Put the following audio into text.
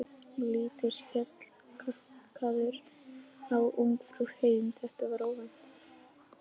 Hann lítur skelkaður á Ungfrú heim, þetta var óvænt!